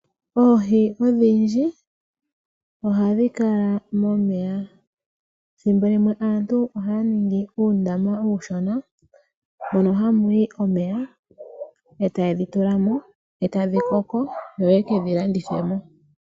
Oohi odhindji ohadhi kala momeya . Thimbo limwe aantu ohaya ningi uundama uushona mono ha muyi omeya e ta yedhi tulamo , etadhi koko , yo ye kedhi landithemo .